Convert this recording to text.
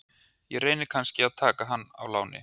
Ég reyni kannski að taka hann á láni?